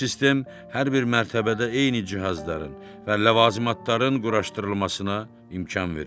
Bu sistem hər bir mərtəbədə eyni cihazların və ləvazımatların quraşdırılmasına imkan verib.